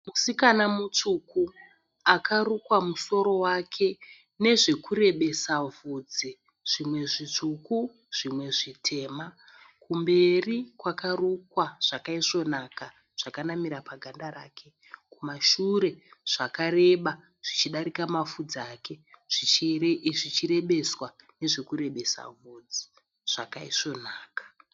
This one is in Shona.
Musikana mutsvuku. Akarukwa musoro wake nezvekurebesa bvudzi zvimwe zvitsvuku zvimwe zvitema. Kumberi kwakarukwa zvakaisvonaka zvakanamira paganda rake. Kumashure zvakareba zvichidarika mapfudzi ake, zvichirebeswa nezvekurebesa bvudzi zvakaisvonaka.